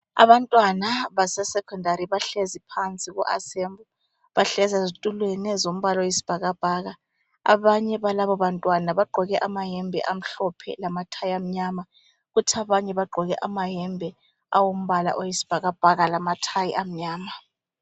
Abantwana baseSekhondari bahlezi phansi ku asembli. Bahlezi ezitulweni ezombala oyisibhakabhaka, abanye balaba bantwana bagqoke amayembe amhlophe lamathayi amnyama. Kuthi abanye bagqoke amayembe awombala oyisibhakabhaka lamathayi amnyama.